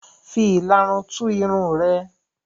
Fi ìlarun tú irun rẹ.